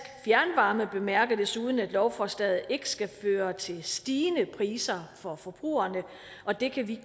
fjernvarme bemærker desuden at lovforslaget ikke skal føre til stigende priser for forbrugerne og det kan vi